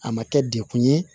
A ma kɛ dekun ye